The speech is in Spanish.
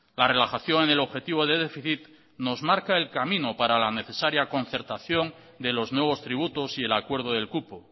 la relajación en el objetivo de déficit nos marca el camino para la necesaria concertación de los nuevos tributos y el acuerdo del cupo